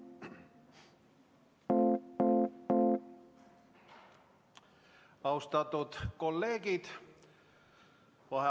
Austatud kolleegid!